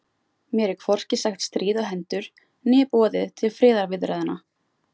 Mér er hvorki sagt stríð á hendur né boðið til friðarviðræðna.